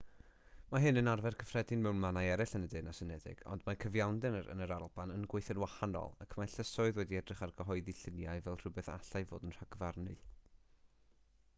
mae hyn yn arfer cyffredin mewn mannau eraill yn y du ond mae cyfiawnder yn yr alban yn gweithio'n wahanol ac mae llysoedd wedi edrych ar gyhoeddi lluniau fel rhywbeth a allai fod yn rhagfarnu